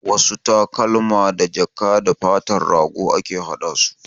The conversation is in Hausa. Wasu takalma da jaka da fatar rago ake hada su